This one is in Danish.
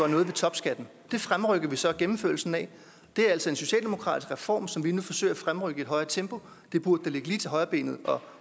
noget ved topskatten det fremrykker vi så gennemførelsen af det er altså en socialdemokratisk reform som vi nu forsøger at fremrykke i et højere tempo det burde da ligge lige til højrebenet at